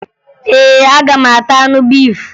Ee, aga m ata anụ efi